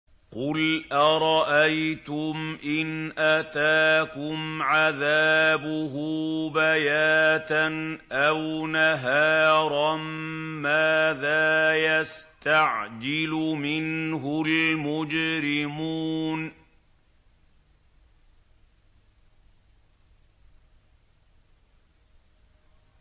قُلْ أَرَأَيْتُمْ إِنْ أَتَاكُمْ عَذَابُهُ بَيَاتًا أَوْ نَهَارًا مَّاذَا يَسْتَعْجِلُ مِنْهُ الْمُجْرِمُونَ